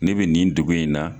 Ne bɛ nin dugu in na.